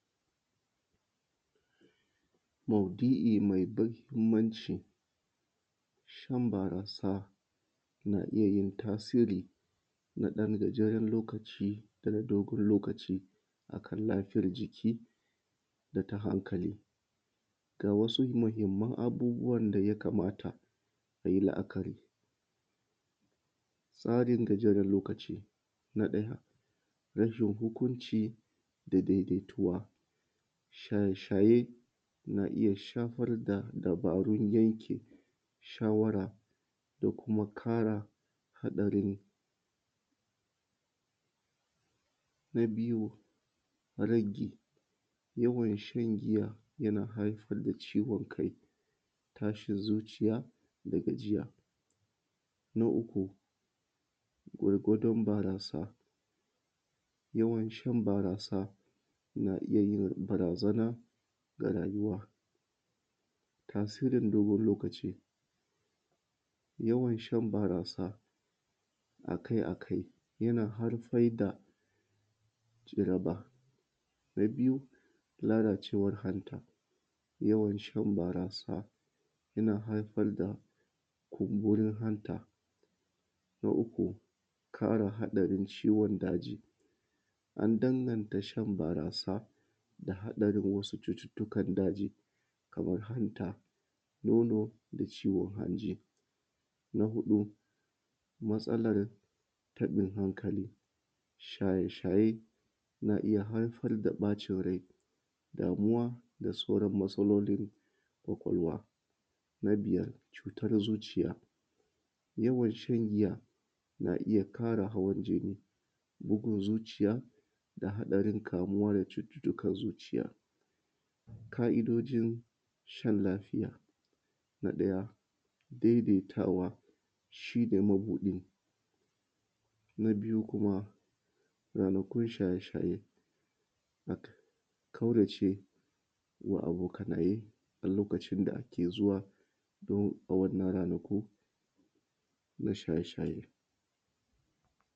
Maudu`i mai mahimmnci, shan barasa na iya yin tasiri na ɗan gajeren lokaci tare da dogon lokaci akan lafiyar jiki da ta hankali, ga wasu mahimman abubuwan da ya kamata a yi la`akari, tsarin gajeren lokaci, na ɗaya rashin hukunci da daidaituwa, shaye shaye na iya shafar da dabarun yanki shawara da kuma kare haɗarin, na biyu rage yawan shan giyayana haifar da ciwon kai tashin zuciya da gajiya, na uku gwargwadon barasa, yawancin barasa na iya yin barazana ga rayuwa, tasirin dogon lokaci yawan shan barasa a kai a kai yana haifar da jaraba, na biyu, lalacewar hanta, yawan shan barasa yana haifar da kumburin hanta, na uku kare haɗarin ciwon daji, an danganta shan barasa da haɗarin wasu cututtukan daji kamar hanta, nono, ciwon hanji, na huɗu, matsalan taɓin hankali, shaye shaye na iya haifar da yawan ɓacin rai, damuwa da sauran matsalolin ƙwaƙwalwa, na buyar cutar zuciya, yawan shan giya na iya ƙara hawan jini, bugun zuciya da haɗarin kamuwa da cututtukan zuciya, ƙa`idojin shan lafiya, na ɗaya, daidaitawa shi ne mabuɗin, na biyu kuma ranakun shaye shaye, kaurace wa abokanaye a lokacin da ake zuwa don a wannan ranaku na shaye shaye.